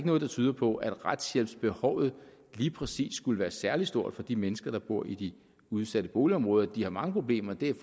noget der tyder på at retshjælpsbehovet lige præcis skulle være særlig stort for de mennesker der bor i de udsatte boligområder de har mange problemer det er